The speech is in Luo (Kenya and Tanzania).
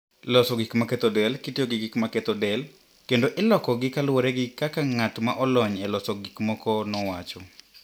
Loso gik maketho del kitiyo gi gik maketho del, kendo ilokogi kaluwore gi kaka ng'at ma olony e loso gik moko nowacho.